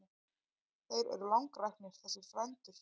Þeir eru langræknir þessir frændur.